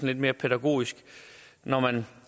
lidt mere pædagogisk når man